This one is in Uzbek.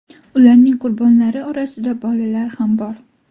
Ularning qurbonlari orasida bolalar ham bor.